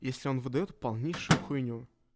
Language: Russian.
если он выдаёт полнейшую хуйню